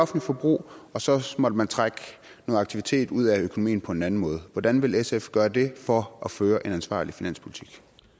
forbrug og så må man trække noget aktivitet ud af økonomien på en anden måde hvordan vil sf gøre det for at føre en ansvarlig finanspolitik